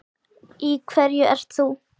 Í hverju ert þú?